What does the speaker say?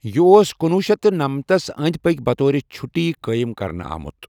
یہِ اوس کُنوُہ شیٚتھ نَمتس أندۍ پٔکۍ بطور چُھٹی قٲیِم کرنہٕ آمُت۔